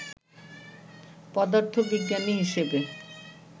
পদার্থবিজ্ঞানী হিসেবে